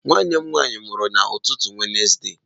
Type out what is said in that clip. Nwanne m nwanyị mụrụ n'ụtụtụ Wenezde.